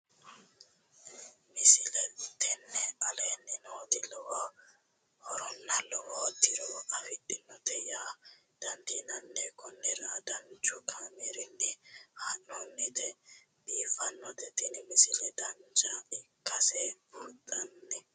misile tini aleenni nooti lowo horonna lowo tiro afidhinote yaa dandiinanni konnira danchu kaameerinni haa'noonnite biiffannote tini misile dancha ikkase buunxanni